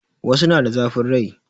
Wasu na da zafin rai